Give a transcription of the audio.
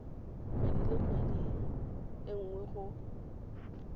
kgwedi nngwe le nngwe go